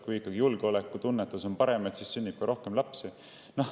Kui ikka julgeoleku tunnetus on suurem, siis sünnib ka rohkem lapsi.